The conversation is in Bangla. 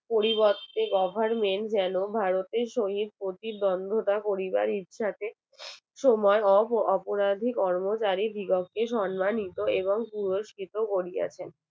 পরিবর্তে goverment যেন ভারতের সহিত প্রতিদ্বন্দ তা করিবার ইচ্ছাতে সময় অপরাধী কর্মচারী সম্মানিত এবং পুরস্কৃত করিয়াছেন